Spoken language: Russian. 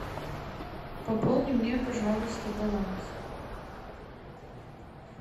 пополни мне пожалуйста баланс